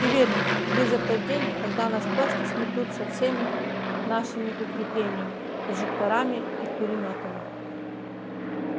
и верь мне близок тот день когда нас просто сметут со всеми нашими укреплениями прожекторами и пулемётами